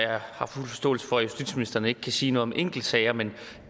har fuld forståelse for at justitsministeren ikke kan sige noget om enkeltsager men